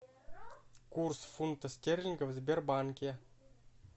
курс фунтов стерлингов в сбербанке